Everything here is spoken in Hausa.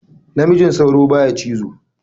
Namijin sauro baya cizo.